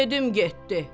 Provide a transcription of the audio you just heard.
Yedim getdi.